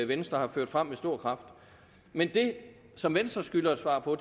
venstre har ført frem med stor kraft men det som venstre skylder at svare på